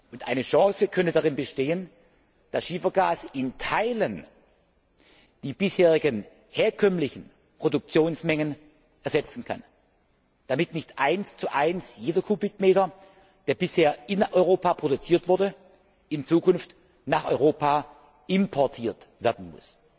Und eine Chance könnte darin bestehen, dass Schiefergas zum Teil die bisherigen herkömmlichen Produktionsmengen ersetzen kann, damit nicht 11 jeder Kubikmeter, der bisher in Europa produziert wurde, in Zukunft nach Europa importiert werden muss.